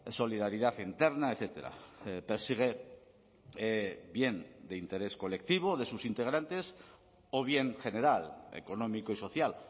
solidaridad interna etcétera persigue bien de interés colectivo de sus integrantes o bien general económico y social